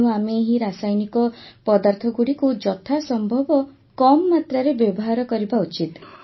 ତେଣୁ ଆମେ ଏହି ରାସାୟନିକ ପଦାର୍ଥଗୁଡ଼ିକୁ ଯଥାସମ୍ଭବ କମ ମାତ୍ରାରେ ବ୍ୟବହାର କରିବା ଉଚିତ